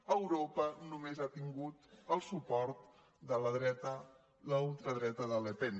a europa només ha tingut el suport de la dreta la ultradreta de le pen